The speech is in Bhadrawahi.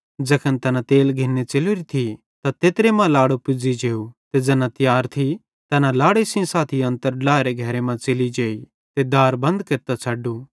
ज़ैखन तैना तेल घिन्ने च़ेलोरि थी त तैत्रे मां लाड़ो पुज़ी जेव ते ज़ैना तियार थी तैना लाड़े सेइं साथी अन्तर ड्लाएरे घरे मां च़ेलि जेई ते दार बंद केरतां छ़डू